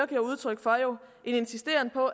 giver udtryk for en insisteren på